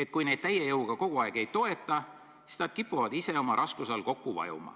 et kui neid täie jõuga kogu aeg ei toeta, siis nad kipuvad ise oma raskuse all kokku vajuma.